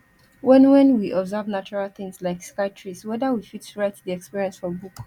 when when we observe natural things like sky trees weather we fit write di experience for book